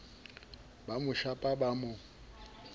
ba mo shapa ba mo